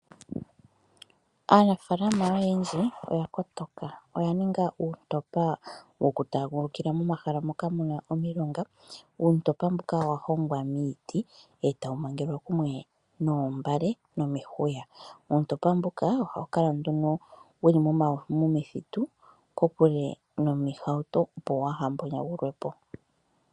Aanafalama oyendji oyakotoka, oyaninga uuntopa wokutaagulukila momahala moka muna omilonga. Uuntopa mbuka owahongwa miiti etawu mangelwa kumwe noombale/nomihuya. Uuntopa mbuka ohawu kala nduno wuli momithitu kokule nomihauto opo waa ha mbonyagulwe po.